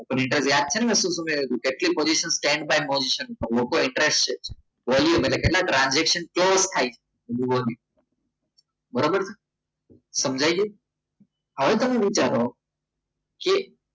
open interest યાદ છે ને મેં શું કહ્યું હતું કેટલી position change લોકો ઇન્ટરેસ્ટ છે volume એટલે કેટલા ટ્રાન્ઝેક્શન થાય છે બરાબર સમજાય છે હવે તમે વિચારો કે